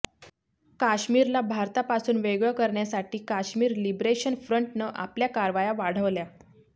काश्मीरला भारतापासून वेगळं करण्यासाठी काश्मीर लिबरेशन फ्रंटनं आपल्या कारवाया वाढवल्या